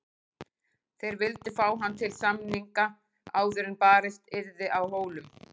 Þeir vildu fá hann til samninga áður en barist yrði á Hólum.